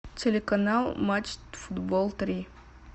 телеканал матч футбол три